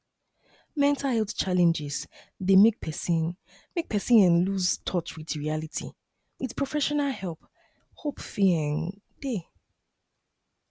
mental health challenges dey make person make person um loose touch with reality with professional help hope fit um dey